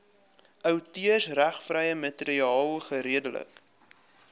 outeursregvrye materiaal geredelik